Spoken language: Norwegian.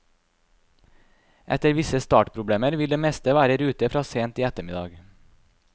Etter visse startproblemer vil det meste være i rute fra sent i ettermiddag.